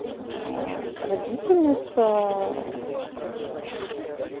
родительница